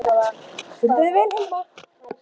Þú stendur þig vel, Hilma!